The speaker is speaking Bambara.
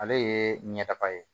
Ale ye ɲɛtaga ye